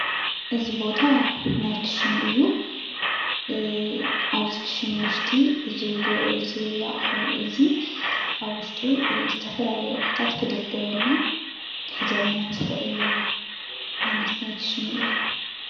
እዚ ቦታ ናይ ክሽነ እዩ። እዚ ክሽነ ውሽጢ እዚ ኣቅሑ እዚ ኣብ ውሽጢ ዝተፈላለዩ ኣቅሑታት ክድርደረሉ ክሕዘልናን ዝክእል ዓይነት ናይ ክሽነ እዩ።